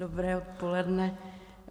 Dobré odpoledne.